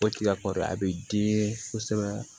O tiga kɔrɔ a bɛ den kosɛbɛ